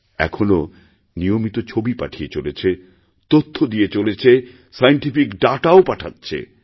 এখনও নিয়মিত ছবি পাঠিয়ে চলেছে তথ্য দিয়ে চলেছে সায়েন্টিফিক দাতা ও পাঠাচ্ছে